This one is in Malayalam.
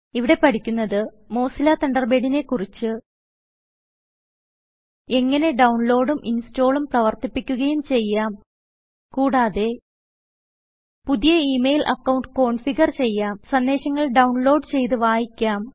ഇവിടെ പഠിക്കുന്നത് മോസില്ല തണ്ടർബേഡിനെ കുറിച്ച് എങ്ങനെ ഡൌൺലോഡും ഇൻസ്റ്റാളും പ്രവർത്തിപ്പിക്കുകയും ചെയ്യാം കൂടാതെ പുതിയ ഇ മെയിൽ അക്കൌണ്ട് കോൺഫിഗർ ചെയ്യാം സന്ദേശങ്ങൾ ഡൌൺലോഡ് ചെയ്ത് വായിക്കാം